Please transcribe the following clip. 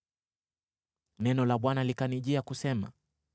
Neno la Bwana likanijia kusema: